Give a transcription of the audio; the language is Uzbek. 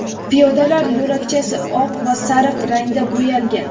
piyodalar yo‘lakchasi oq va sariq rangda bo‘yalgan.